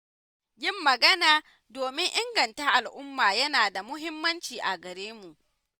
Yin magana domin inganta al'umma yana da muhimmanci a garemu